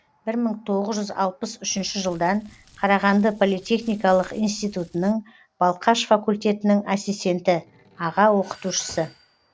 бір мың тоғыз жүз алпыс үшінші жылдан қарағанды политехникалық институтының балқаш факультетінің ассистенті аға оқытушысы